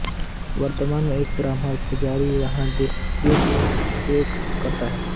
वर्तमान में एक ब्राह्मण पुजारी वहाँ की देखरेख करता है